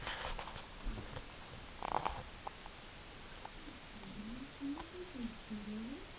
কি করছো বলো?